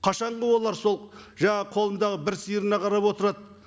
қашанғы олар сол жаңа қолындағы бір сиырына қарап отырады